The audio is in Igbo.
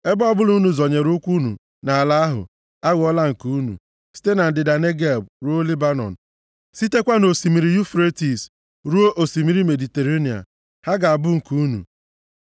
Ebe ọbụla unu zọnyere ụkwụ unu nʼala ahụ aghọọla nke unu, site na ndịda Negeb ruo Lebanọn, sitekwa nʼOsimiri Yufretis ruo Osimiri Mediterenịa. Ha ga-abụ nke unu.